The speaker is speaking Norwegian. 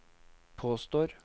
påstår